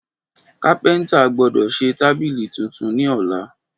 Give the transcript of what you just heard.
Kápéntà gbódò sè tábílì titun ní ọ̀la